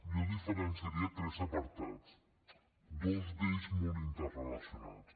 jo hi diferenciaria tres apartats dos d’ells molt interrelacionats